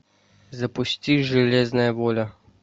запусти железная воля